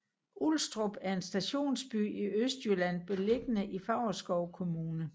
Ulstrup er en stationsby i Østjylland beliggende i Favrskov Kommune